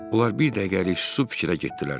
Onlar bir dəqiqəlik susub fikrə getdilər.